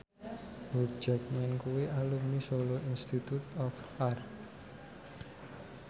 Hugh Jackman kuwi alumni Solo Institute of Art